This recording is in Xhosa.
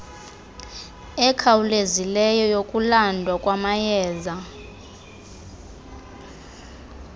ekhawulezileyo yokulandwa kwamayeza